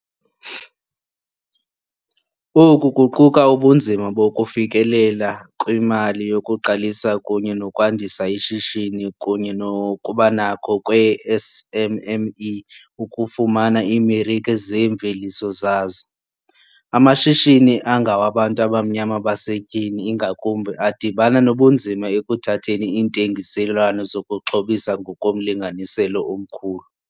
Oku kuquka ubunzima bokufikelela kwimali yokuqalisa kunye nokwandisa ishishini kunye nokubanakho kweeSMME ukufumana iimarike zeemveliso zazo. Amashishini angawabantu abamnyama basetyhini, ingakumbi, adibana nobunzima ekuthatheni iintengiselwano zokuxhobisa ngokomlinganiselo omkhulu.